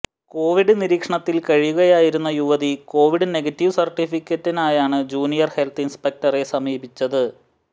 Covid നിരീക്ഷണത്തിൽ കഴിയുകയായിരുന്ന യുവതി കൊവിഡ് നെഗറ്റീവ് സർട്ടിഫിക്കറ്റിനായാണ് ജൂനിയർ ഹെൽത്ത് ഇൻസ്പെക്ടറെ സമീപിച്ചത്